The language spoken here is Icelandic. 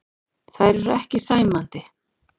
Þær eru ekki sæmandi.